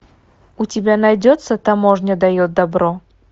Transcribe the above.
у тебя найдется таможня дает добро